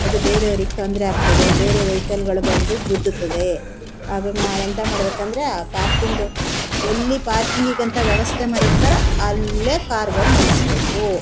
ಅದು ಬೇರೆಯವರಿಗೆ ತೊಂದರೇ ಆಗತ್ತದೆ ಬೇರೆ ವೆಹಿಕಲ್ ಗಳ್ ಬಂದು ಗುದ್ದುತ್ತದ್ದೆ ಆಗ ನಾವ್ ಎಂಥ ಮಾಡಬೇಕೆಂದರೆ ಆ ಪಾರ್ಕಿಂಗ್ ಎಲ್ಲಿ ಪಾರ್ಕಿಂಗ್ ಗೆ ಅಂತ ವ್ಯವಸ್ಥೆ ಮಾಡಿರ್ತ್ತಾರೋ ಅಲ್ಲೇ ಕಾರ್ ಗಳನ್ ನಿಲ್ಸ್ ಬೇಕು.